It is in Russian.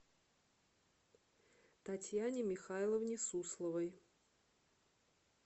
татьяне михайловне сусловой